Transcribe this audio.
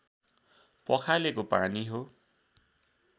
पखालेको पानी हो